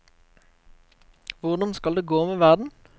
Hvordan skal det gå med verden?